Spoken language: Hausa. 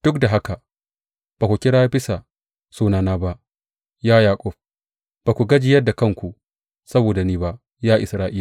Duk da haka ba ku kira bisa sunana ba, ya Yaƙub, ba ku gajiyar da kanku saboda ni ba, ya Isra’ila.